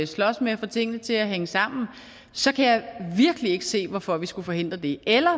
slås med at få tingene til at hænge sammen så kan jeg virkelig ikke se hvorfor vi skulle forhindre det eller